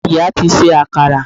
Ìyá ti se akara